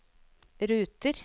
ruter